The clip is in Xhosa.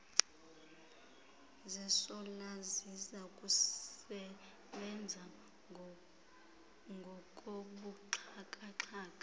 zesola zizakusebenza ngokobuxhakaxhaka